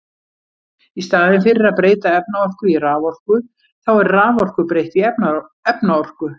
Í staðinn fyrir að breyta efnaorku í raforku, þá er raforku breytt í efnaorku.